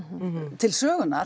til sögunnar